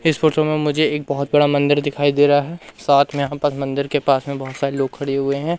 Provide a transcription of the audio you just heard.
इस फोटो मे मुझे एक बहोत बड़ा मंदिर दिखाई दे रहा है साथ मे यहां पर मंदिर के पास मे बहोत सारे लोग खड़े हुए है।